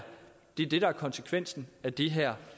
konsekvensen af det her